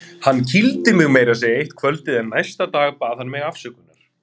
Hann kýldi mig meira að segja eitt kvöldið en næsta dag bað hann mig afsökunar.